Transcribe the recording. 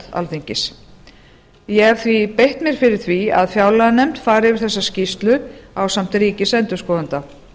alþingis ég hef því beitt mér fyrir því að fjárlaganefnd fari yfir þessa skýrslu ásamt ríkisendurskoðanda